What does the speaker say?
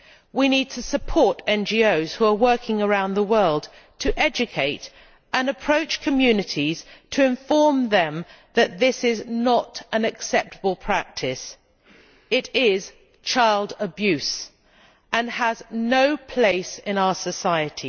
We need to support NGOs who are working around the world to educate and approach communities, to inform them that this is not an acceptable practice. It is child abuse, and has no place in our society.